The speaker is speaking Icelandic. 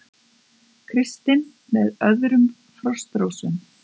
Kristinn með öðrum Frostrósum